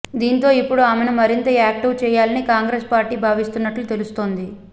దీంతో ఇప్పుడు ఆమెను మరింత యాక్టీవ్ చేయాలని కాంగ్రెస్ పార్టీ భావిస్తున్నట్లు తెలుస్తోంది